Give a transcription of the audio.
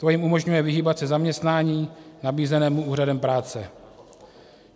To jim umožňuje vyhýbat se zaměstnání nabízenému úřadem práce.